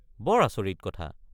বৰ আচৰিত কথা।